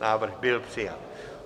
Návrh byl přijat.